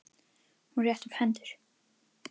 Hún rétti upp hendur.